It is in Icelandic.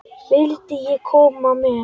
Vildi ég koma með?